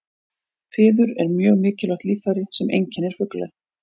Fiður er mjög mikilvægt líffæri sem einkennir fugla.